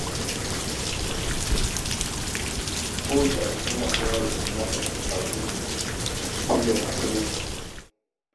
Ko wacce al’umma tana da irin nata al’adu da ke bayyana asalinta.